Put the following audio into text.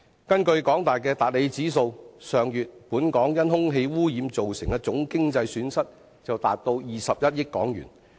根據香港大學的達理指數，本港上月因空氣污染造成的總經濟損失達21億元。